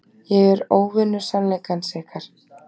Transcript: Ég er óvinur sannleikans ykkar.